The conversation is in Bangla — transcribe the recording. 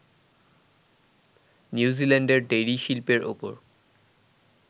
নিউজিল্যান্ডের ডেইরি শিল্পের ওপর